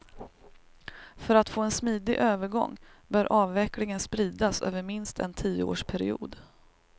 För att få en smidig övergång bör avvecklingen spridas över minst en tioårsperiod.